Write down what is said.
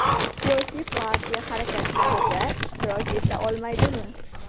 Siyosiy partiya harakatlarida ishtirok eta olmaydimi?